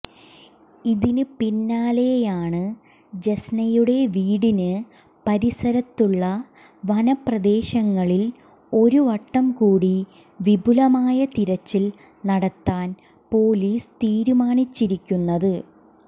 ഇതിന് പി്ന്നാലെയാണ് ജസ്നയുടെ വീടിന് പരിസരത്തുള്ള വനപ്രദേശങ്ങളിൽ ഒരുവട്ടംകൂടി വിപുലമായ തിരച്ചിൽ നടത്താൻ പൊലീസ് തീരുമാനിച്ചിരിക്കുന്നത്